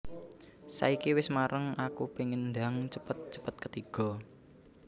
Saiki wes mareng aku pengen ndang cepet cepet ketigo